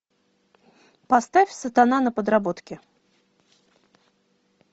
поставь сатана на подработке